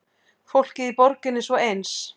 Fólkið í borginni svo eins.